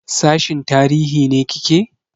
Sashin tarihi ne kike?